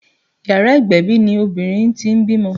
Yàrá ìgbẹ̀bì ni obìnrin tí ń bímọ